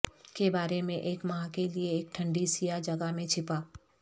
کے بارے میں ایک ماہ کے لئے ایک ٹھنڈی سیاہ جگہ میں چھپا